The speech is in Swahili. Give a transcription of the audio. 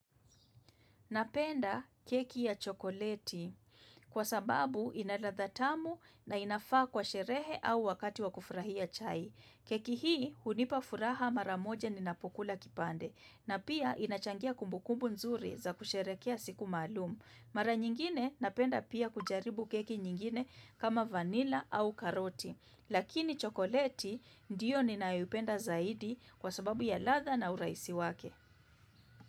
Napenda keki ya chokoleti kwa sababu ina ladha tamu na inafaa kwa sherehe au wakati wa kufurahia chai. Keki hii unipa furaha mara moja ninapokula kipande na pia inachangia kumbukumbu nzuri za kusherekea siku maalum. Mara nyingine napenda pia kujaribu keki nyingine kama vanilla au karoti. Lakini chokoleti ndiyo ninayopenda zaidi kwa sababu ya ladha na uraisi wake.